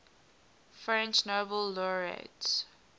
french nobel laureates